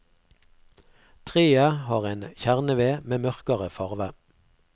Treet har en kjerneved med mørkere farve.